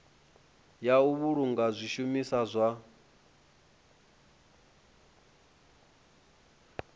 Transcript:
ya u vhulunga zwishumiswa zwa